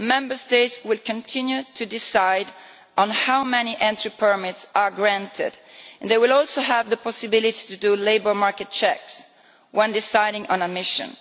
Member States will continue to decide how many entry permits are granted and they will also have the possibility to do labour market checks when deciding on admission.